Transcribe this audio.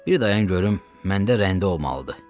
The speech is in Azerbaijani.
Bir dayan görüm, məndə rəndə olmalıdır.